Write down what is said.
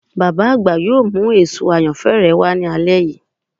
Baba agba yoo mu eso ayanfẹ rẹ wa ni alẹ yii